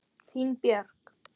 Þín Björk.